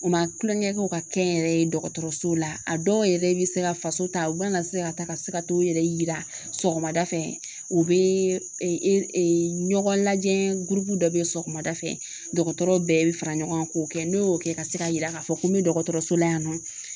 U ma kulonkɛ kɛ u ka kɛnyɛrɛye dɔgɔtɔrɔso la a dɔw yɛrɛ be se ka faso ta u mana se ka taa ka se ka t'o yɛrɛ yira sɔgɔmada fɛ o bee e e e ɲɔgɔn lajɛn gurupu dɔ be sɔgɔmada fɛ dɔgɔtɔrɔw bɛɛ be fara ɲɔgɔn kan k'o kɛ n'o y'o kɛ ka se ka yira k'a fɔ ko n me dɔgɔtɔrɔso la yan nɔ